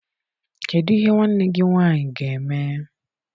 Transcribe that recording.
Kedụ ihe nwanne gị nwaanyị ga-eme?